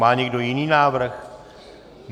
Má někdo jiný návrh?